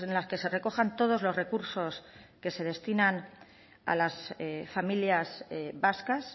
las que se recojan todos los recursos que se destinan a las familias vascas